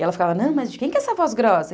E ela ficava, não, mas de quem é essa voz grossa?